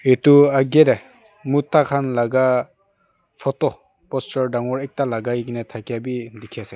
etu ahkae dae muta kan laka photo posture tangor ekta lakai kina takiya bi tiki ase.